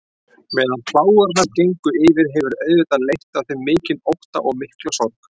Meðan plágurnar gengu yfir hefur auðvitað leitt af þeim mikinn ótta og mikla sorg.